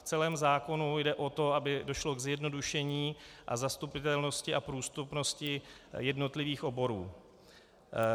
V celém zákonu jde o to, aby došlo k zjednodušení a zastupitelnosti a prostupnosti jednotlivých oborů.